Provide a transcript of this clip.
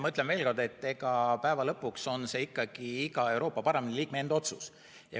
Ma ütlen veel kord, et päeva lõpuks on see ikkagi iga Euroopa Parlamendi liikme enda otsus.